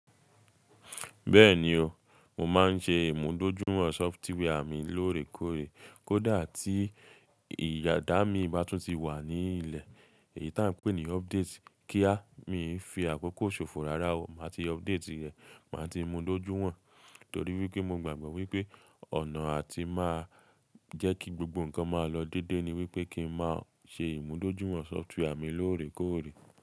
Bẹ́ẹ̀ni o, mo máa ń ṣe ìmúdójúwọ̀n software mi lóòrèkóòrè. Kódà tí ìyádá mi bá tún ti wà ní ilẹ̀, èyí táa ń pè ní update, kíá, mii fi àkókò ṣòfò rára wo, màá ti update rẹ̀, màá ti mú dojú wọ́n. Torí wípé mo gbàgbọ́ wípé ọ̀nà atí máa jẹ́ kí gbogbo ǹkan máa lọ déedé ni wípé kí ń máa ṣe ìmúdójúwọ̀n software mi lóòrèkóòrè.